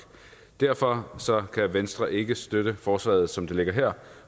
derfor kan venstre ikke støtte forslaget som det ligger her